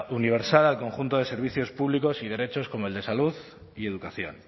universal al conjunto de servicios públicos y derechos como el de salud y educación